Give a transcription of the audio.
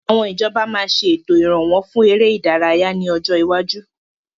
Àwọn ìjọba máa ṣe ètò Ìrànwọ́ fún ère ìdárayá ni ọjọ́ iwáju.